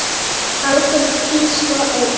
Alþingi kýs svo einn.